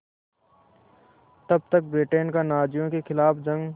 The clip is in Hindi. तब तक ब्रिटेन का नाज़ियों के ख़िलाफ़ जंग